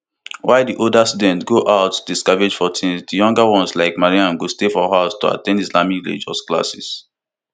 while di older children go out dey scavenge for tins di younger ones like mariam go stay for house to at ten d islamic religious classes